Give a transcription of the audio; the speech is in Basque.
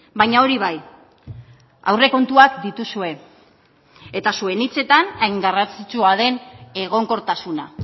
baina hori bai aurrekontuak dituzue eta zuen hitzetan hain garrantzitsua den egonkortasuna